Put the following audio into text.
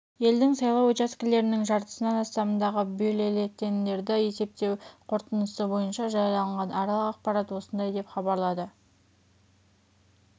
елдің сайлау учаскелерінің жартысынан астамындағы бюллетендерді есептеу қорытындысы бойынша жарияланған аралық ақпарат осындай деп хабарлады